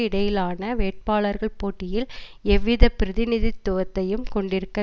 இடையிலான வேட்பாளர்கள் போட்டியில் எவ்வித பிரதிநிதித்துவத்தையும் கொண்டிருக்க